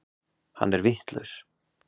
Hann er vitlaus.